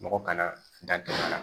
Mɔgɔ kana dan